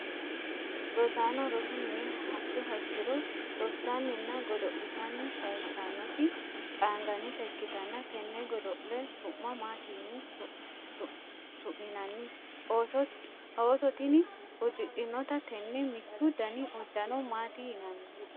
rosaano rosu mine hadhuha ikkiro rossanninna godo'litanni sayiissanoti qaangannita ikkitanna, tenne godo'le su'ma maati yine su'minanni? ooso tini uddidhinota tenne mittu dani uddano maati yinanni?